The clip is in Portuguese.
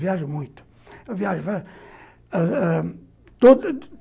Viajo muito, eu viajo